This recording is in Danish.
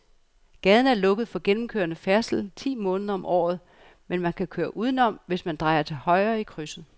Gaden er lukket for gennemgående færdsel ti måneder om året, men man kan køre udenom, hvis man drejer til højre i krydset.